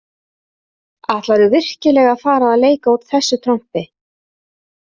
Ætlarðu virkilega að fara að leika út þessu trompi?